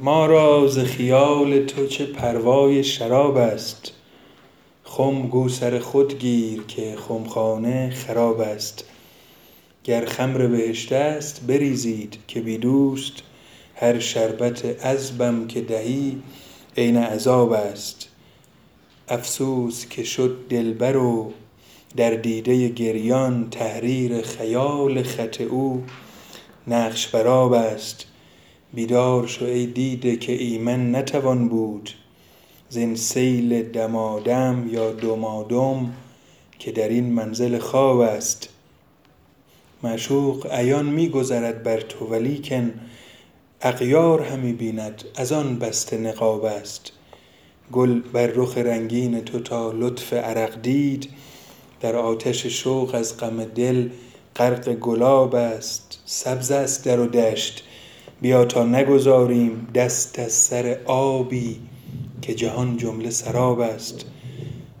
ما را ز خیال تو چه پروای شراب است خم گو سر خود گیر که خمخانه خراب است گر خمر بهشت است بریزید که بی دوست هر شربت عذبم که دهی عین عذاب است افسوس که شد دلبر و در دیده گریان تحریر خیال خط او نقش بر آب است بیدار شو ای دیده که ایمن نتوان بود زین سیل دمادم که در این منزل خواب است معشوق عیان می گذرد بر تو ولیکن اغیار همی بیند از آن بسته نقاب است گل بر رخ رنگین تو تا لطف عرق دید در آتش شوق از غم دل غرق گلاب است سبز است در و دشت بیا تا نگذاریم دست از سر آبی که جهان جمله سراب است